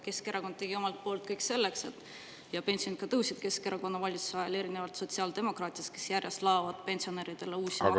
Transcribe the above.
Pensionid Keskerakonna valitsuse ajal tõusid, erinevalt sellest, et sotsiaaldemokraadid laovad pensionäridele peale järjest uusi makse.